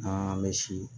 An bɛ si